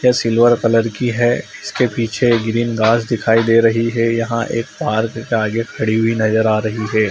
यह silver colour की है। इसके पीछे ग्रीन घास दिखाई दे रही है। यहाँ एक पार्क के आगे खड़ी हुई नजर आ रही है।